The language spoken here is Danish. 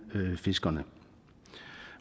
fiskerne